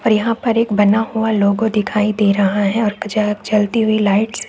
यहाँ पर एक बना हुआ लोगो दिखाई दे रहा है और यह कुछ जलती हुई लाइटस --